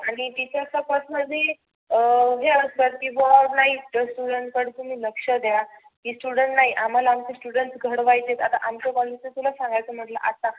आणि teacher personal बी अं हे असतं. की बुआ नाही students कडे लक्ष द्या. की student नाही आम्हाला आमचे student नाही घडवायचे आहेत. आता अम्हाला आमच कॉलेज सांगायच ठरल आता